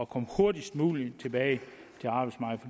komme hurtigst muligt tilbage